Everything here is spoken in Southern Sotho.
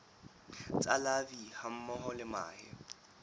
tsa larvae hammoho le mahe